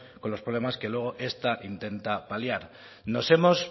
con los problemas que luego esta intenta paliar nos hemos